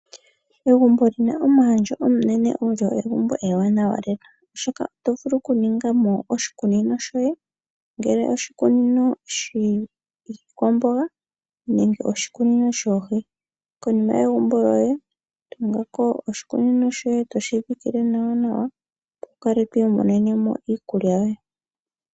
Egumbo lyina omuhandjo omunene olyo egumbo ewanawa lela oshoka oto vulu okuningamo oshikunino shoye , ngele oshikunino shiikwamboga nenge oshikunino shoohi. Tunga oshikunino konima , etoshi dhikile nawanawa, wukale twiimonenemo iikulya yoye.